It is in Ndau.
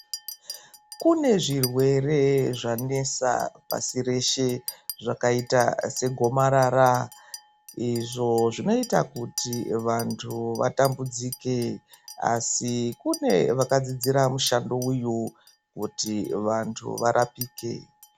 Kune zvirwere zvanesa pasi reshe zvakaita segomarara izvo zvaita kuti vantu vatambudzike asi kune vakadzidzira mushando uyu kuti vantu varapike.